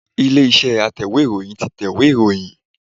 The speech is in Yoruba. Ilé-iṣẹ́ Atẹ̀wé ìròyìn tí tẹ̀wé ìròyìn.